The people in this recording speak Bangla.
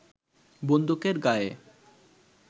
বন্দুকের গায়ে